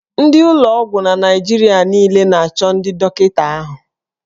Ndị ụlọ ọgwụ na Naịjirịa niile na-achọ ndị dọkịta ahụ.